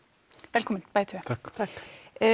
velkomin bæði tvö takk